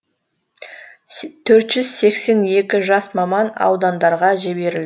төрт жүз сексен екі жас маман аудандарға жіберілді